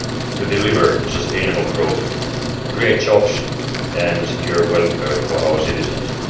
to deliver sustainable growth, create jobs and secure the welfare of our citizens.